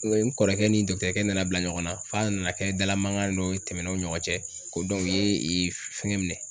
N kɔrɔkɛ ni dɔkitɛrikɛ nana bila ɲɔgɔnna f'a nana kɛ dala mankan dɔ ye tɛmɛnw no ɲɔgɔn cɛ ko ye fɛngɛ minɛ?